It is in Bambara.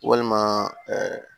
Walima